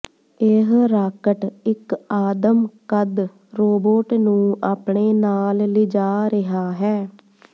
ਇਹ ਰਾਕਟ ਇਕ ਆਦਮ ਕੱਦ ਰੋਬੋਟ ਨੂੰ ਆਪਣੇ ਨਾਲ ਲਿਜਾ ਰਿਹਾ ਹੈ